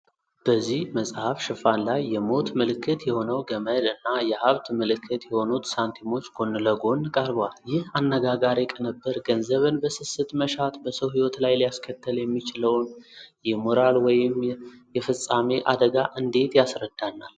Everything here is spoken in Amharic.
በዚህ መጽሐፍ ሽፋን ላይ የሞት ምልክት የሆነው ገመድ እና የሀብት ምልክት የሆኑት ሳንቲሞች ጎን ለጎን ቀርበዋል። ይህ አነጋጋሪ ቅንብር ገንዘብን በስስት መሻት በሰው ሕይወት ላይ ሊያስከትል የሚችለውን የሞራል ወይም የፍጻሜ አደጋ እንዴት ያስረዳናል?